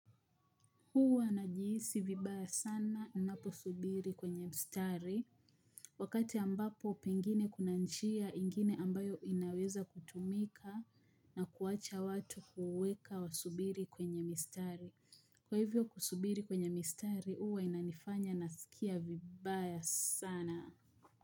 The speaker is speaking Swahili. Huwa najihisi vibaya sana ninaposubiri kwenye mstari wakati ambapo pengine kuna njia ingine ambayo inaweza kutumika na kuwacha watu kuweka wasubiri kwenye mistari. Kwa hivyo kusubiri kwenye mistari huwa inanifanya nasikia vibaya sana.